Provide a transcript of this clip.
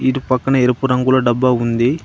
ఇటు పక్కన ఎరుపు రంగుల డబ్బా ఉంది.